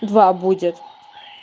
два будет